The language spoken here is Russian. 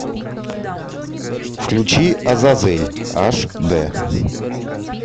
включи азазель аш дэ